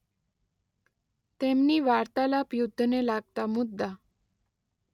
તેમની વાર્તાલાપ યુદ્ધને લાગતા મુદ્દા